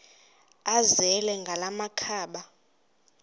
azele ngala makhaba